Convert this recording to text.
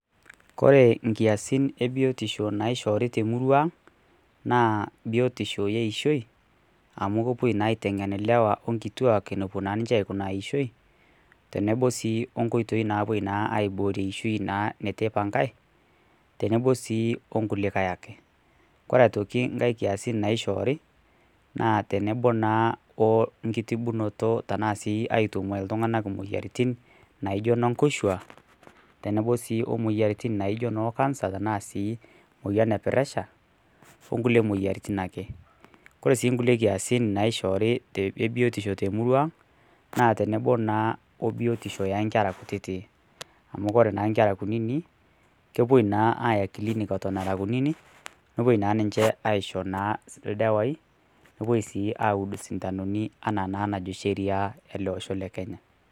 Kore inkiasin ebiotisho naaishoori temurua aang naa biotisho eeishioi amu kepuo naa aiteng'en ilewa onkituak eneikunaa eeishioi tenebo sii wonkoitoi naapuoi aaibooyo eishioi neitu eipangai tenebo sii onkulikae ake ore sii nkulie kiasin nashoori naa tenebo naa wenkitibunoto aaitung'aa iltung'anak imoyiaritin naijio noo nkoshuak tenebo sii womoyiaritin naaijio ne cancer tenaa sii moyian e pressure onkulie moyiaritin ake kore sii nkulie kiasin e biotisho naaishoore te murua ang naaa tenebo naa obiotisho oonkera kutitik amu ore nkera nepuoi aaya clinic aaishoo naa ildawai nepuo sii auud isindanoni enaa naa najo sheria ele osho le kenya.